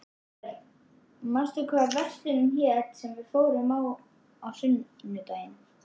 Örn, manstu hvað verslunin hét sem við fórum í á sunnudaginn?